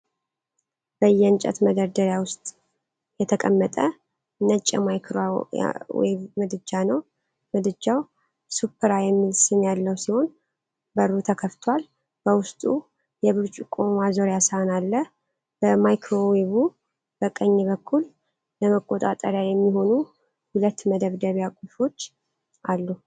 በየእንጨት መደርደሪያ ውስጥ የተቀመጠ ነጭ የማይክሮዌቭ ምድጃ ነው። ምድጃው “ሱፕራ” የሚል ስም ያለው ሲሆን በሩ ተከፍቷል። በውስጡ የብርጭቆ ማዞሪያ ሳህን አለ። በማይክሮዌቩ ቀኝ በኩል ለመቆጣጠሪያ የሚሆኑ ሁለት መደብደቢያ ቁልፎች አሉ።